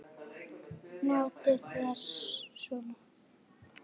Notið þér svona?